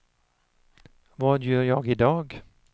vad gör jag idag